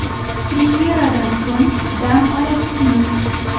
Premyeradan so‘ng dam olasizmi?